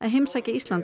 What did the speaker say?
sækja Ísland